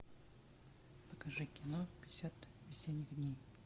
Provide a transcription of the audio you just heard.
покажи кино пятьдесят осенних дней